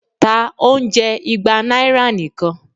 ta oúnjẹ igba naira nikan!